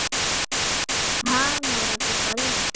આ નવરાત્રી કરીને